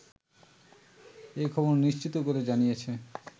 এ খবর নিশ্চিত করে জানিয়েছে